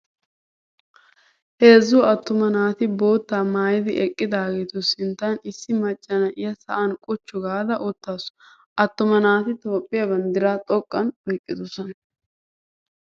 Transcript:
Heezzu attuma naati boottaa maayidi eqqidaageetu sinttan issi macca na'iyaa sa'an quchchu gaada uttaasu. Attuma naati Toophphiyaa banddiraa xoqqan oyiqqidosona.